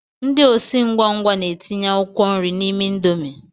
Ndị osi ngwa ngwa na-etinye akwụkwọ nri n'ime indomi